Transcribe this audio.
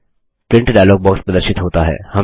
print dialog box प्रदर्शित होता है